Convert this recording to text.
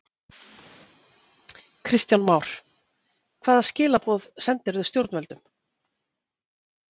Kristján Már: Hvaða skilaboð sendirðu stjórnvöldum?